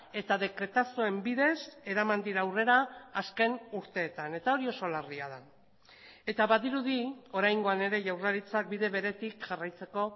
eta dekretazoen bidez eraman dira aurrera azken urteetan eta hori oso larria da eta badirudi oraingoan ere jaurlaritzak bide beretik jarraitzeko